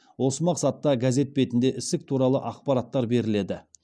осы мақсатта газет бетінде ісік туралы ақпараттар беріледі